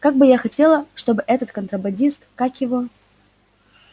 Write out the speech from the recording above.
как бы я хотела чтобы этот контрабандист как его